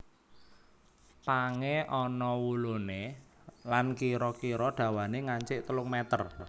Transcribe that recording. Pangé ana wuluné lan kira kira dawané ngancik telung meter